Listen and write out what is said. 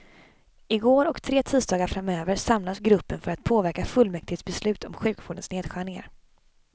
Igår och tre tisdagar framöver samlas gruppen för att påverka fullmäktiges beslut om sjukvårdens nedskärningar.